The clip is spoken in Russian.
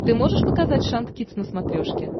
ты можешь показать шант кидс на смотрешке